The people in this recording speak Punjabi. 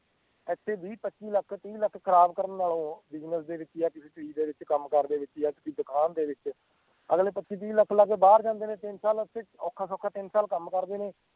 ਇਥੇ ਵੀ ਵੀਹ ਪਚੀਹ ਤੀਹ ਲੱਖ ਖਰਾਬ ਕਰਨ ਨਾਲੋਂ business ਦੇ ਵਿਚ ਜਾਂ ਕਿਸੀ ਚੀਜ਼ ਦੇ ਵਿਚ ਕਮ ਕਰ ਦੇ ਵਿਚ ਜਾਂ ਕਿਸੀ ਦੁਕਾਨ ਦੇ ਵਿਚ ਅਗਲੇ ਪਚਿਹ ਤੀਹ ਲੱਖ ਲਾ ਕੇ ਬਾਹਰ ਜਾਂਦੇ ਨੇ ਤਿੰਨ ਸਾਲ ਓਥੇ ਔਖਾ ਸੌਖਾ ਤਿੰਨ ਸਾਲ ਕੰਮ ਕਰਦੇ ਨੇ